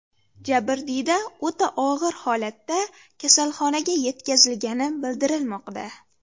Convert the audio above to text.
Jabrdiyda o‘ta og‘ir holatda kasalxonaga yetkazilgani bildirilmoqda.